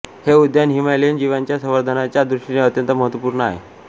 हे उद्यान हिमालयीन जीवांच्या संवर्धनाच्या दृष्टीने अत्यंत महत्वपूर्ण आहे